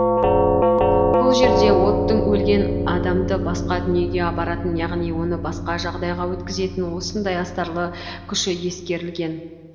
бұл жерде оттың өлген адамды басқа дүниеге апаратын яғни оны басқа жағдайға өткізетін осындай астарлы күші ескерілген